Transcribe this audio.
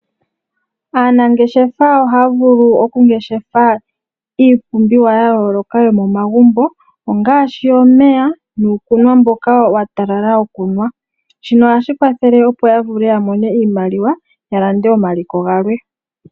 Aanangeshefa ohaya vulu okungeshefa iipumbiwa ya yooloka yomomagumbo. Ongaashi omeya nuukunwa mboka wa talala wokunwa. Shino ohashi ya kwathele opo ya vule ya mone iimaliwa ya lande omaliko galwe.